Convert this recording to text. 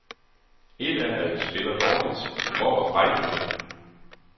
Ét er at vi spiller dårligt, men hvor var fighten henne?